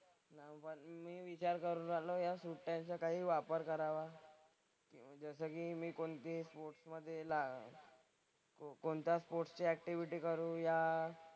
मग मी विचार करून राहिलो ह्या सुट्ट्यांचा काही वापर करावा. जसं की मी कोणती स्पोर्ट्स मधे ला कोणत्या स्पोर्ट्स ची ऍक्टिव्हिटी करूया.